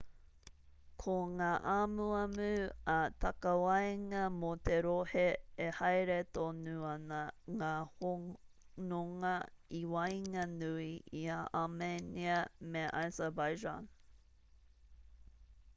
ko ngā amuamu ā-takawaenga mō te rohe e haere tonu ana ngā hononga i waenganui i a armenia me azerbaijan